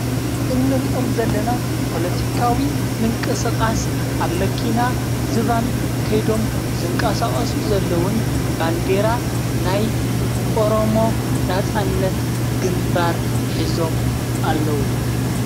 እኔሪእኦም ዘለና ጶሎቲካዊ ምንቀ ሥቓስ ኣብ መኪና ዝባን ከይዶም ዘንቃሳቓሱ ዘለዉን ባንዴራ ናይ ኦሮሞ ናፃነት ግምባር ኂዞም ኣለዉ።